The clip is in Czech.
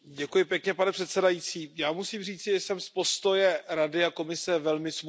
Pane předsedající, já musím říci, že jsem z postoje Rady a Komise velmi smutný.